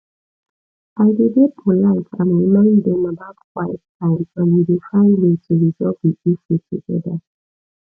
i dey dey polite and remind dem about quiet time and we dey find way to resolve di issue together